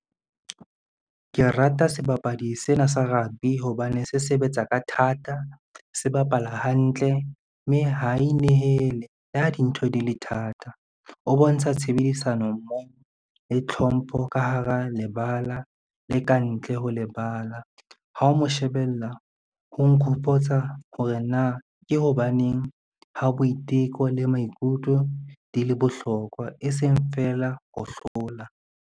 Ke rata sebapadi sena sa rugby hobane se sebetsa ka thata, se bapala hantle, mme ha inehele le ha dintho di le thata. O bontsha tshebedisano mmoho le tlhompho ka hara lebala le ka ntle ho lebala, ha o mo shebella ho nkgopotsa hore na ke hobaneng ha boiteko le maikutlo di le bohlokwa e seng fela ho hlola.